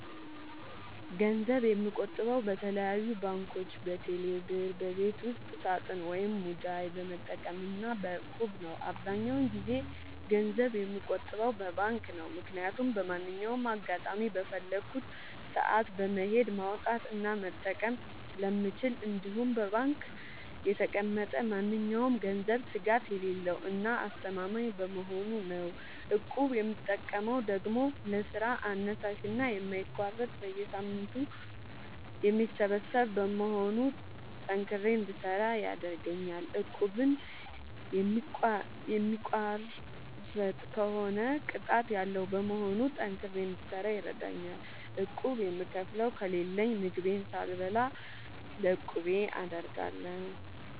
ገንዘብ የምቆጥበው በተለያዩ ባንኮች÷በቴሌ ብር ÷በቤት ውስጥ ሳጥን ወይም ሙዳይ በመጠቀም እና በ እቁብ ነው። አብዛኛውን ጊዜ ገንዘብ የምቆጥበው በባንክ ነው። ምክያቱም በማንኛውም አጋጣሚ በፈለኩት ሰአት በመሄድ ማውጣት እና መጠቀም ስለምችል እንዲሁም በባንክ የተቀመጠ ማንኛውም ገንዘብ ስጋት የሌለው እና አስተማማኝ በመሆኑ ነው። እቁብ የምጠቀመው ደግሞ ለስራ አነሳሽና የማይቋረጥ በየሳምንቱ የሚሰበሰብ በመሆኑ ጠንክሬ እንድሰራ ያደርገኛል። እቁቡን የሚቋርጥ ከሆነ ቅጣት ያለዉ በመሆኑ ጠንክሬ እንድሰራ ይረደኛል። ቁብ የምከፍለው ከሌለኝ ምግቤን ሳልበላ ለቁቤ አደርጋለሁ።